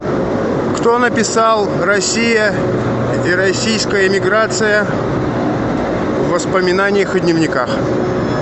кто написал россия и российская эмиграция в воспоминаниях и дневниках